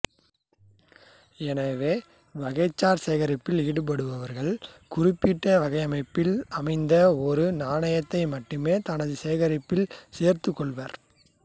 எனவே வகைசார் சேகரிப்பில் ஈடுபடுபவர்கள் குறிப்பிட்ட வடிவமைப்பில் அமைந்த ஒரு நாணயத்தை மட்டுமே தமது சேகரிப்பில் சேர்த்துக்கொள்வர்